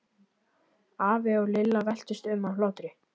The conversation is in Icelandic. Afi og Lilla veltust um af hlátri.